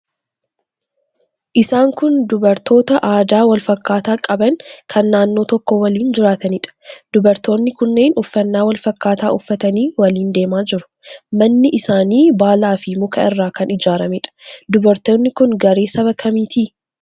Isaan kun dubartoota aadaa wal fakkaataa qaban kan naannoo tokko waliin jiraataniidha. Dubartoonni kunneen uffannaa wal fakkaataa uffatanii waliin deemaa jiru. Manni isaanii baalaafi muka irraa kan ijaarameedha. Dubartoonni kun garee saba kamiiti?